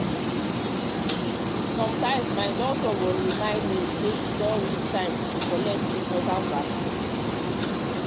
sometimes my doctor go remind me say e don reach time to collect to collect important vaccine.